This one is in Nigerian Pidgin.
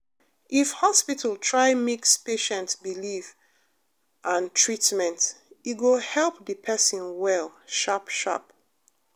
if hospital try mix patient belief and treatment e go help the person well sharp sharp